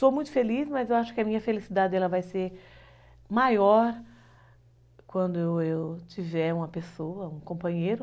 Sou muito feliz, mas eu acho que a minha felicidade vai ser maior quando eu tiver uma pessoa, um companheiro.